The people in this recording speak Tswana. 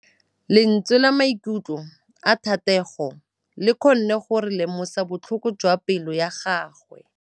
Lentswe la maikutlo a Thategô le kgonne gore re lemosa botlhoko jwa pelô ya gagwe.